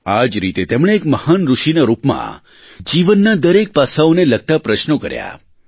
આજ રીતે તેમણે એક મહાન ઋષિનાં રૂપમાં જીવનનાં દરેક પાસાઓને લગતા પ્રશ્નો કર્યાં